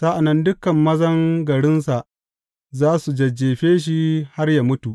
Sa’an nan dukan mazan garinsa za su jajjefe shi har yă mutu.